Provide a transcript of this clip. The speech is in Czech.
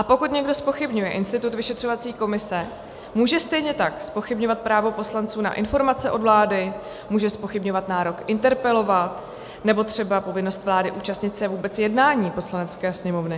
A pokud někdo zpochybňuje institut vyšetřovací komise, může stejně tak zpochybňovat právo poslanců na informace od vlády, může zpochybňovat nárok interpelovat nebo třeba povinnost vlády účastnit se vůbec jednání Poslanecké sněmovny.